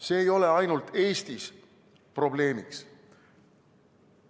See ei ole ainult Eestis probleemiks.